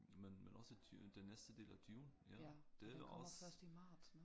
Men men også den næste del af Dune ja det er også